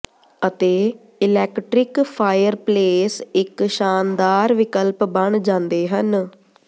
ਅਤੇ electric fireplace ਇੱਕ ਸ਼ਾਨਦਾਰ ਵਿਕਲਪ ਬਣ ਜਾਂਦੇ ਹਨ